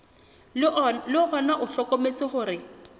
le ona o hlokometse hore